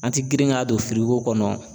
An ti girin ka don firigo kɔnɔ